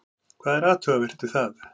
Hvað er athugavert við það?